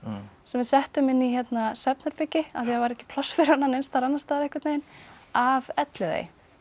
sem við settum inn í svefnherbergi af því það var ekki pláss fyrir hana neins staðar annars staðar af Elliðaey